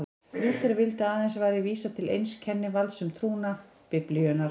Lúther vildi að aðeins væri vísað til eins kennivalds um trúna, Biblíunnar.